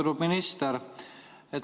Austatud minister!